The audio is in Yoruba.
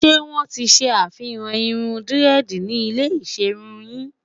ṣé wón tí ṣé àfihàn irún diredi ni ilẹ iserun yìn?